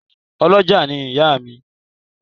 Ọ́lọjá ni ìyá mi